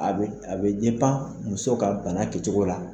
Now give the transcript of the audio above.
A a bɛ muso ka bana kɛcogo la